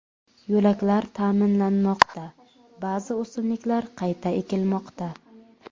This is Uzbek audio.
Yo‘laklar ta’mirlanmoqda, ba’zi o‘simliklar qayta ekilmoqda.